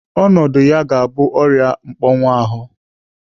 Ọnọdụ ya ga-abụ ọrịa mkpọnwuahu.